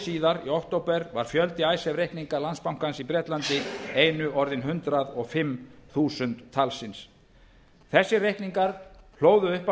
síðar í október var fjöldi icesave reikninga í bretlandi einu orðinn hundrað og fimm þúsund talsins þessir reikningar hlóðu upp á